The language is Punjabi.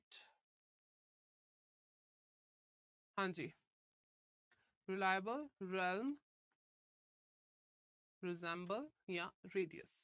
ਹਾਂਜੀ। reliable rim resemble ਜਾਂ radius